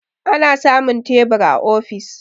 ana samun tebur a ofis